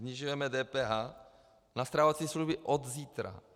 Snižujeme DPH na stravovací služby od zítra.